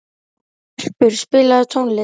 Erpur, spilaðu tónlist.